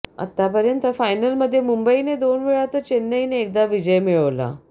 आतापर्यंत फायनलमध्ये मुंबईने दोनवेळा तर चेन्नईने एकदा विजय मिळवला